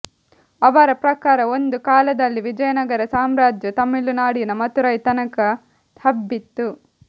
ಅವರ ಪ್ರಕಾರ ಒಂದು ಕಾಲದಲ್ಲಿ ವಿಜಯನಗರ ಸಾಮ್ರಾಜ್ಯ ತಮಿಳುನಾಡಿನ ಮದುರೈ ತನಕ ಹಬ್ಬಿತ್ತು